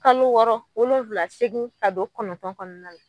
Kalo wɔɔrɔ wolonvila seegin ka don kɔnɔntɔn kɔnɔna la.